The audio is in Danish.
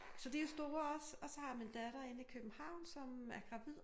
Så de er store også og så har jeg min datter inde i Købehavn som er gravid